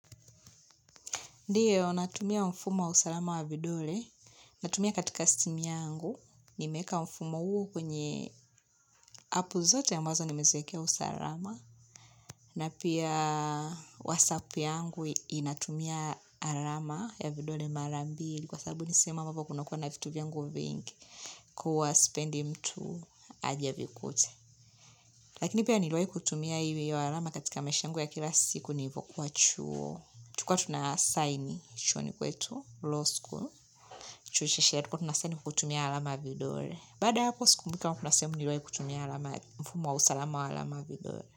Ndiyo, natumia mfumo wa usalama wa vidole, natumia katika simu yangu, nimeweka mfumo huo kwenye apu zote ambazo nimeziwekea usalama, na pia wasap yangu inatumia alama ya vidole mara mbili, kwa sababu nisehemu ambavo kunakuwa na vitu vyangu vingi, kuwa sipendi mtu aje avikute. Lakini pia niliwai kutumia hiyo alama katika maisha yangu ya kila siku nilivokua chuo. Tulikua tunasaini chuoni kwetu, Law school, chuo cha sheria tulikua tunasaini kutumia alama ya vidole. Baada ya hapo sikumbuki kama kuna sehemu niliwai kutumia mfumo wa usalama wa alama ya vidole.